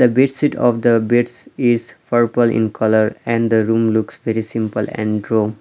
the bedsheet of the beds is purple in colour and the room looks very simple and .